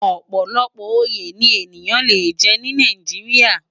Òpòlòpò óyé ni éniyán lé jè ni Nàijiriá